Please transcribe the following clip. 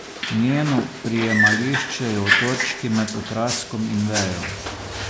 Njeno prijemališče je v točki med okraskom in vejo.